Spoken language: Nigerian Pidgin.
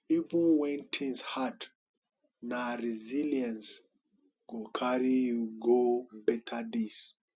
even wen tins hard na resilience go carry you go beta days